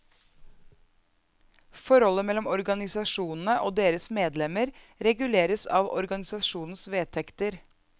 Forholdet mellom organisasjonene og deres medlemmer reguleres av organisasjonenes vedtekter.